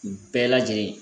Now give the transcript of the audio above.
Bɛɛ lajɛlen